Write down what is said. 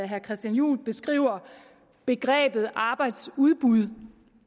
herre christian juhl beskriver begrebet arbejdsudbud